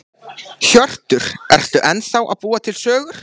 Hjörtur: Ertu ennþá að búa til sögur?